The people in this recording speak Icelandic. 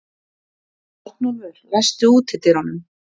Arnúlfur, læstu útidyrunum.